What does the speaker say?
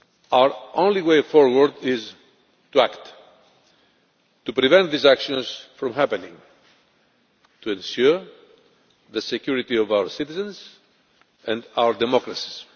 Our only way forward is to act to prevent these actions from happening and to ensure the security of our citizens and our democracies.